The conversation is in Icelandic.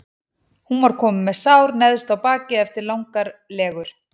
Hún var komin með sár neðst á bakið eftir langar legur.